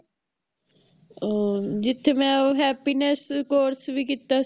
ਅਹ ਜਿਥੇ ਮੈਂ happiness course ਵੀ ਕੀਤਾ